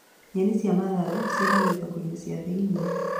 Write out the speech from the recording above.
Nyeni cia matharũ ciendagwo thoko-inĩ cia thĩiniĩ